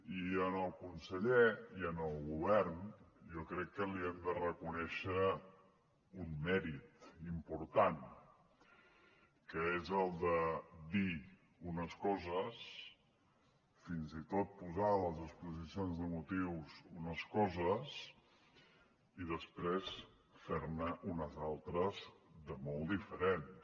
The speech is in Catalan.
i al conseller i al govern jo crec que li hem de reconèixer un mèrit important que és el de dir unes coses fins i tot posar a les exposicions de motius unes coses i després fer ne unes altres de molt diferents